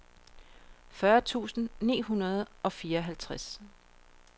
fyrre tusind ni hundrede og fireoghalvtreds